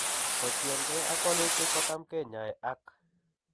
Kotien kee ag walutik kotam kinyae ak